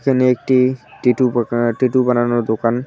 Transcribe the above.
এখানে একটি টিটু টিটু বানানোর দোকান।